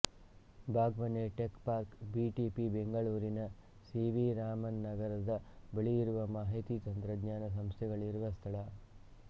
Bagmane tech park BTP ಬೆಂಗಳೂರಿನ C V Raman ನಗರದ ಬಳಿಯಿರುವ ಮಾಹಿತಿ ತಂತ್ರಜ್ಞಾನ ಸಂಸ್ಥೆಗಳಿರುವ ಸ್ಥಳ